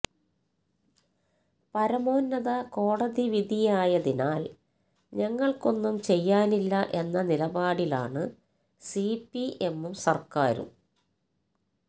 പരമോന്നത കോടതിവിധിയായതിനാല് ഞങ്ങള്ക്കൊന്നും ചെയ്യാനില്ല എന്ന നിലപാടിലാണ് സിപിഎമ്മും സര്ക്കാരും